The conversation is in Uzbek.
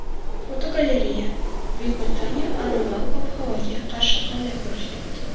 Fotogalereya: Buyuk Britaniya anomal ob-havoga qarshi qanday kurashyapti?.